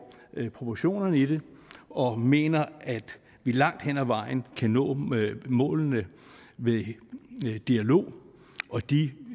proportionerne i det og mener at vi langt hen ad vejen kan nå målene ved dialog og de